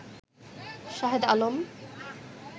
Shahed Alam